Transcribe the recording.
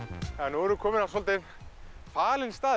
nú erum við komin á svolítið falin stað